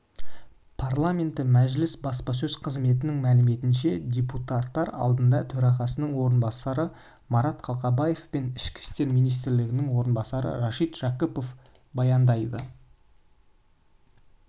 парламенті мәжілісібаспасөз қызметінің мәліметінше депутаттар алдында төрағасының орынбасары марат қалқабаев пен ішкі істер министрінің орынбасары рашид жақыпов баяндама жасайды